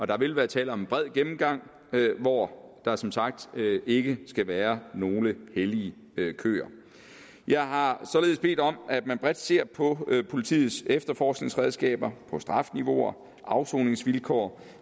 der vil være tale om en bred gennemgang hvor der som sagt ikke skal være nogen hellige køer jeg har således bedt om at man bredt ser på politiets efterforskningsredskaber strafniveauer afsoningsvilkår